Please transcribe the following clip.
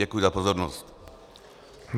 Děkuji za pozornost.